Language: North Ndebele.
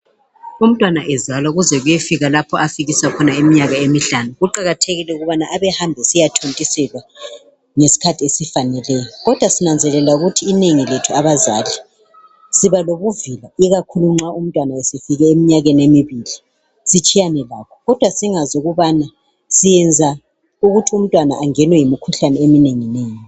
Umntwana ezalwa kuze kuyefika lapha afikisa khona iminyaka emihlanu. Kuqakathekile ukubana abehamba esiyathontiselwa. Ngesikhathi esifaneleyo. Kodwa sinanzelela ukuthi inengi lethu abazali, siba lobuvila. Ikakhulu nxa umntwana esefike iminyaka emibili. Sitshiyane lakho, kodwa singananzeleli ukuthi siyenza ukuthi umntwana angenwe yimikhuhlane eminenginengi.